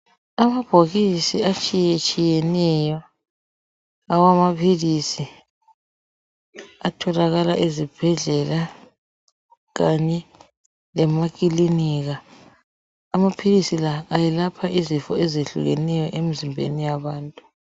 Amabhokisi atshiyatshiyeneyo awamaphilisi atholakala ezibhedlela kanye lemakilinika. Amaphilisi la ayelapha izifo ezehlukeneyo emzimbeni yabantu.